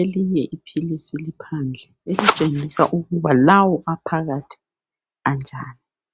elinye ipilisi liphandle elitshengisa ukuthi lawo aphakathi anjani.